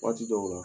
Waati dɔw la